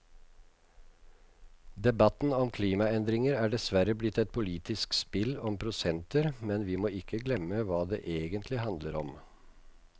Debatten om klimaendringer er dessverre blitt et politisk spill om prosenter, men vi må ikke glemme hva det egentlig handler om.